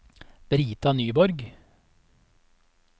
Brita Nyborg